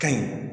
Ka ɲi